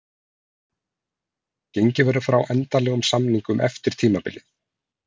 Gengið verður frá endanlegum samningum eftir tímabilið.